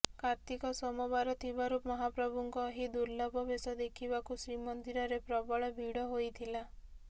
କାର୍ତ୍ତିକ ସୋମବାର ଥିବାରୁ ମହାପ୍ରଭୁଙ୍କ ଏହି ଦୁର୍ଲଭ ବେଶ ଦେଖିବାକୁ ଶ୍ରୀମନ୍ଦିରରେ ପ୍ରବଳ ଭିଡ଼ ହୋଇଥିଲା